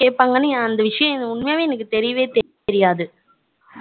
கேப்பாங்கனூ அந்த விஷயம் எனக்கு தெரியவே தெரியாது